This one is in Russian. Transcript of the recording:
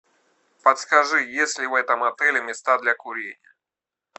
подскажи есть ли в этом отеле места для курения